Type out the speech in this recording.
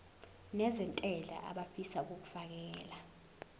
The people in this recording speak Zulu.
nezentela abafisa uukfakela